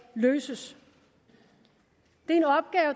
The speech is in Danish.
løses det